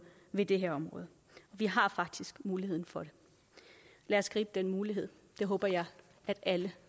ved det her område og vi har faktisk muligheden for det lad os gribe den mulighed det håber jeg at alle